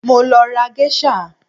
Mo lọ ra Geisha